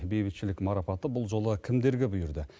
бейбітшілік марапаты бұл жолы кімдерге бұйырды